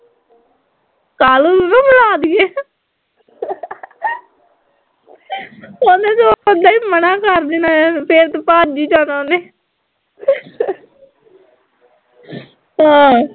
ਕਾਲੂ ਨੂੰ ਨਾ ਬੁਲਾ ਦੀਏ ਓਹਨੇ ਤਾਂ ਸਿੱਧਾ ਈ ਮਨਾ ਕਰ ਦੇਣਾ ਆ, ਫੇਰ ਤਾਂ ਭੱਜ ਈ ਜਾਣਾ ਓਨੇ ਆ